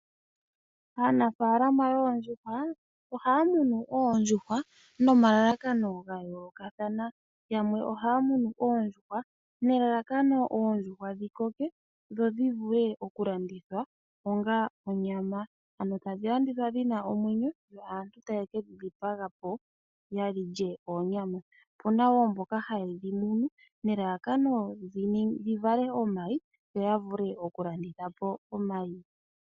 Aanafaalama yoondjuhw aohaya munu oondjuhwa nomalalakano ga yoolokathana. Yamwe ohaya munu oondjuhwa nelalakano oondjuhwa dhi koke dho dhi vule okulandithwa onga onyama, ano tu tadhi landithwa dhi na omwenyo yo aantu taye ke dhi dhipaga po ya lye oonyama. Opu na wo mboka haye dhi munu nelalakano dhi vale omayi yo ya vule okulanditha po omayi.